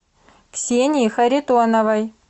ксении харитоновой